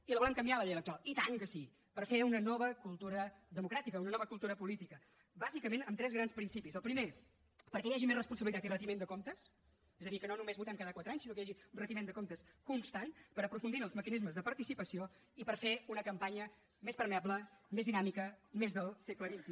i la volem canviar la llei electoral i tant que sí per fer una nova cultura democràtica una nova cultura política bàsicament amb tres grans principis el primer perquè hi hagi més responsabilitat i retiment de comptes és a dir que no només votem cada quatre anys sinó que hi hagi un retiment de comptes constant per aprofundir en els mecanismes de participació i per fer una campanya més permeable més dinàmica més del segle xxi